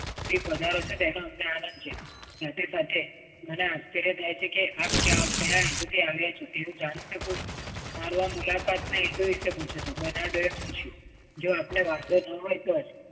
અધિક વધારો છે તેનો અમને આનંદ છે. સાથે સાથે મને આશ્ચર્ય થાય છે કે આપ કયા અર્થે આવ્યા છો તે હું જાણી શકું? મારો આ મુલાકાતને વિષે પૂછું છું, બરનાલ્ડો એ પૂછ્યું, જો આપને વાંધો ન હોય તો